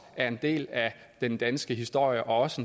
er en del af den danske historie og også